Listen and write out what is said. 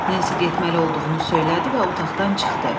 Nensi getməli olduğunu söylədi və otaqdan çıxdı.